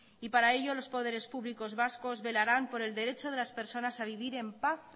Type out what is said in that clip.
y para ello los poderes públicos vascos velarán por el derecho de las personas a vivir en paz